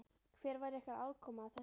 Hver var ykkar aðkoma að þessu?